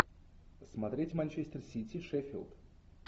смотреть манчестер сити шеффилд